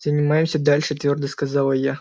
занимаемся дальше твёрдо сказала я